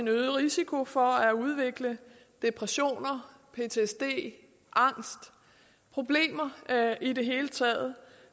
øget risiko for at udvikle depression ptsd angst problemer i det hele taget